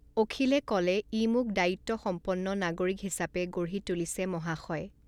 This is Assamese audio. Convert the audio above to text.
অখিলে ক'লে ই মোক দায়িত্বসম্পন্ন নাগৰিক হিচাপে গঢ়ি তুলিছে মহাশয়।